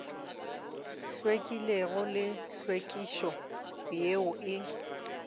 hlwekilego le tlhwekišo yeo e